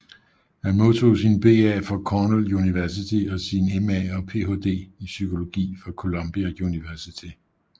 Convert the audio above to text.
Han modtog sin BA fra Cornell University og sin MA og PhD i psykologi fra Columbia University